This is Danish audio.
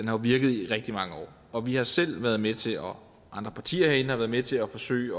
har virket i rigtig mange år og vi har selv været med til og andre partier herinde har været med til at forsøge